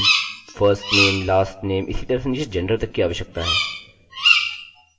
हमें id firstname lastname इसी तरह से नीचे gender तक की आवश्यकता है